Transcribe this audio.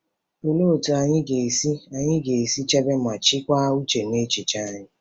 Olee otú anyị ga-esi anyị ga-esi chebe ma chịkwaa uche na echiche anyị?